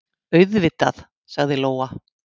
Auðvitað, sagði Lóa.